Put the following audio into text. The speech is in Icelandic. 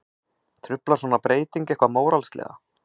Truflar svona breyting eitthvað móralslega?